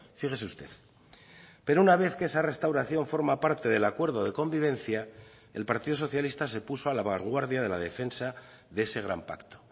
fíjese usted pero una vez que esa restauración forma parte del acuerdo de convivencia el partido socialista se puso a la vanguardia de la defensa de ese gran pacto